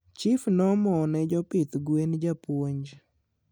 chief noomone jopidh gwen japuonj